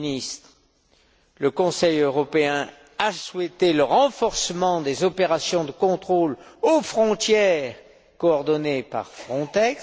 M. le ministre, le Conseil européen a souhaité le renforcement des opérations de contrôle aux frontières coordonnées par Frontex.